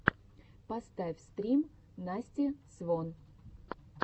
поставь стрим насти свон